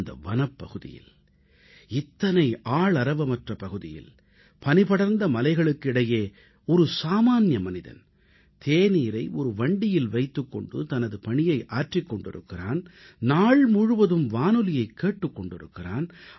இந்த வனப்பகுதியில் இத்தனை ஆளரவமற்ற பகுதியில் பனிபடர்ந்த மலைகளுக்கு இடையே ஒரு சாமான்ய மனிதன் தன்னந்தனியனாக தேநீரை விற்பனை செய்து கொண்டே நாள் முழுவதும் வானொலியைக் கேட்டுக் கொண்டிருக்கிறான்